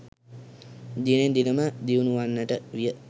දිනෙන් දින ම දියුණු වන්නට විය.